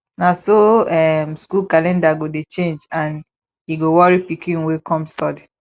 na so um skool calender go dey change and e go worry pikin wey kom study